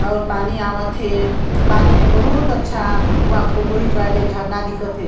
और पानी आवत हे पानी मे बहुत अच्छा वहां फोटो हिचवाले झरना दिखत हे।